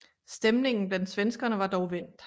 Stemningen blandt svenskerne var dog vendt